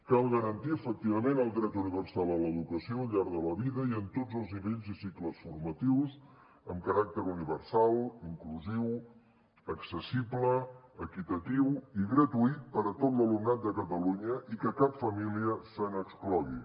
cal garantir efectivament el dret universal a l’educació al llarg de la vida i en tots els nivells i cicles formatius amb caràcter universal inclusiu accessible equitatiu i gratuït per a tot l’alumnat de catalunya i que cap família se n’exclogui